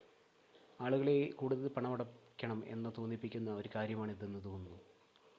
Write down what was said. ആളുകളെ കൂടുതൽ പണമടയ്ക്കണം എന്ന തോന്നിപ്പിക്കുന്ന ഒരു കാര്യമാണ് ഇതെന്ന് തോന്നുന്നു